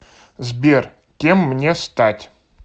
сбер кем мне стать